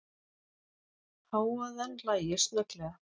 Hávaðann lægir snögglega.